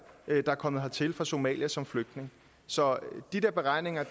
der er kommet hertil fra somalia som flygtning så de der beregninger